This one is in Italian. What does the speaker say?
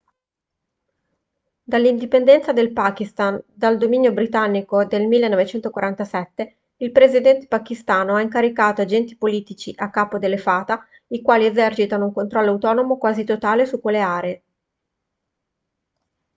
dall'indipendenza del pakistan dal dominio britannico del 1947 il presidente pachistano ha incaricato agenti politici a capo delle fata i quali esercitano un controllo autonomo quasi totale su quelle aree